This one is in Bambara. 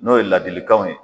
N'o ye ladilikanw ye.